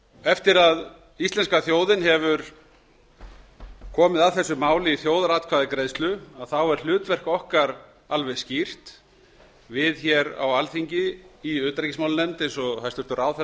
eftir að íslenska þjóðin kom að þessu máli í þjóðaratkvæðagreiðslu er hlutverk okkar alveg skýrt við á alþingi í utanríkismálanefnd eins og hæstvirtur ráðherra hefur